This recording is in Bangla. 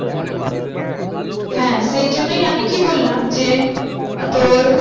হ্যাঁ সেই জন্যই আমি কি বললাম যে আহ তোর